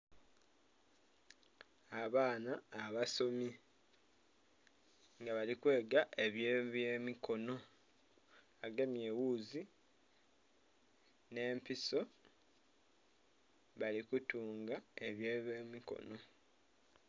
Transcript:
Abaana abasomi nga bali kwega ebye byemikono bagemye eghuzi nh'empiso bali kutunga ebye byemikono.